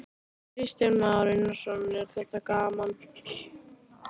Kristján Már Unnarsson: Er þetta gaman?